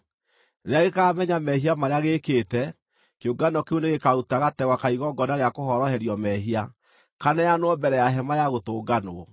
Rĩrĩa gĩkaamenya mehia marĩa gĩĩkĩte, kĩũngano kĩu nĩgĩkaruta gategwa ka igongona rĩa kũhoroherio mehia, kaneanwo mbere ya Hema-ya-Gũtũnganwo.